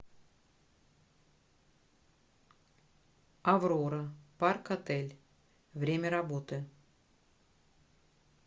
аврора парк отель время работы